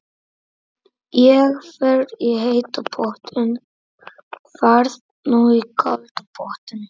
Ég fer í heita pottinn. Ferð þú í kalda pottinn?